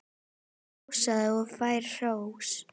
Ég hrósa og fæ hrós.